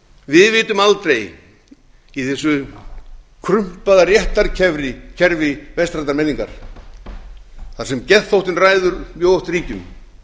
við vitum aldrei í þessu krumpaða réttarkerfi vestrænnar menningar þar sem geðþóttinn ræður mjög oft ríkjum